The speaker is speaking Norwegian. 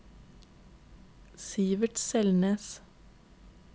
Sivert Selnes